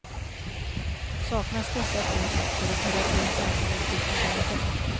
Saknas dessa två saker är terapin sannolikt utan värde.